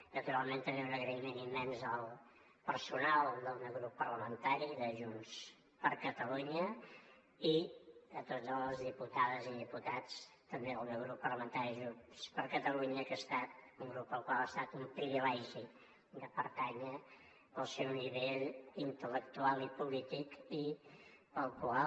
naturalment també un agraïment immens al personal del meu grup parlamentari de junts per catalunya i a totes les diputades i diputats també del meu grup parlamentari junts per catalunya que ha estat un grup al qual ha estat un privilegi de pertànyer pel seu nivell intel·lectual i polític i pel qual